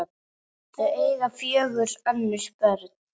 Þau eiga fjögur önnur börn.